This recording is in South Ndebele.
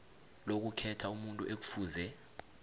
lokukhetha umuntu ekufuze